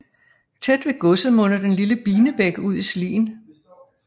Tæt ved godset munder den lille Binebæk ud i Slien